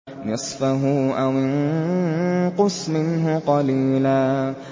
نِّصْفَهُ أَوِ انقُصْ مِنْهُ قَلِيلًا